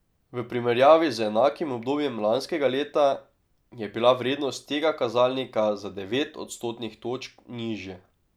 V primerjavi z enakim obdobjem lanskega leta je bila vrednost tega kazalnika za devet odstotnih točk nižja.